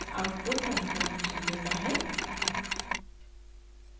output transfer function देता है